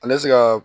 Ale se ka